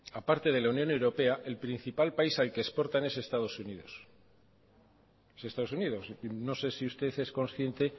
aparte de la unión europa el principal país al que exportan es a estados unidos no sé si usted es conciente